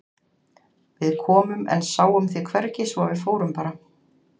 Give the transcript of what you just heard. Við komum en sáum þig hvergi svo að við fórum bara.